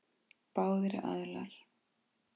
Báðir aðilar.